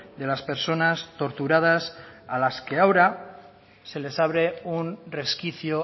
de las personas torturadas a las que ahora se les abre un resquicio